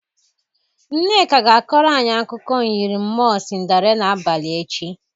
Nneka ga-akọrọ anyị akụkụ myịrị mmụọ Sinderila abalị echi.